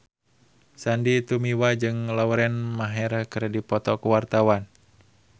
Sandy Tumiwa jeung Lauren Maher keur dipoto ku wartawan